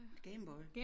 Game Boy